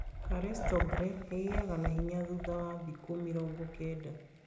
Charleston grey ĩgĩaga na hinya thutha wa thikũ mĩrongo kenda